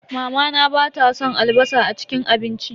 Mamana bata san albasa a cikin abinci.